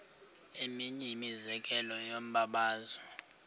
eminye imizekelo yombabazo